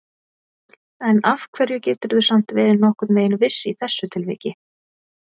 En af hverju geturðu samt verið nokkurn veginn viss í þessu tilviki?